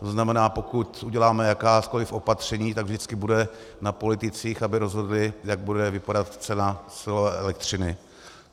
To znamená, pokud uděláme jakákoliv opatření, tak vždycky bude na politicích, aby rozhodli, jak bude vypadat cena silové elektřiny.